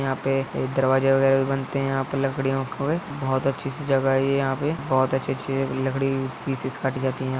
यहाँ पे एक दरवाजे वगैरह भी बनते है। यहाँ पे लकड़ियों के हवे बहुत अच्छी सी जगह है। ये यहाँ पे बहुत अच्छे अच्छे लकड़ी के पीसेस काटे जाते हैं।